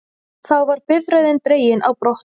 Þá var bifreiðin dregin á brott